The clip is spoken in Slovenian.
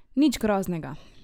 Nič groznega!